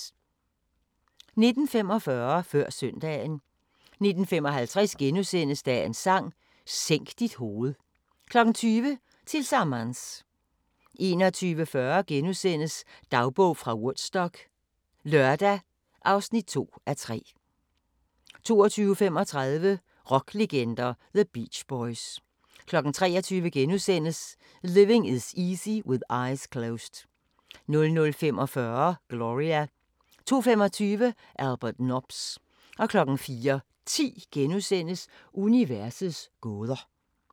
19:45: Før søndagen 19:55: Dagens Sang: Sænk dit hoved * 20:00: Tillsammans 21:40: Dagbog fra Woodstock - lørdag (2:3)* 22:35: Rocklegender – The Beach Boys 23:00: Living Is Easy with Eyes Closed * 00:45: Gloria 02:25: Albert Nobbs 04:10: Universets gåder *